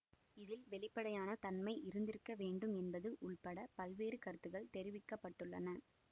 இதில் வெளிப்படையான தன்மை இருந்திருக்க வேண்டும் என்பது உள்பட பல்வேறு கருத்துள் தெரிவிக்க பட்டுள்ளன